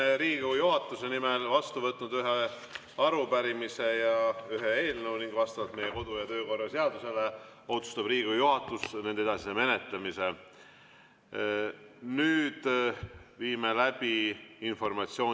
Olen Riigikogu juhatuse nimel vastu võtnud ühe arupärimise ja ühe eelnõu, Riigikogu juhatus otsustab nende edasise menetlemise vastavalt meie kodu‑ ja töökorra seadusele.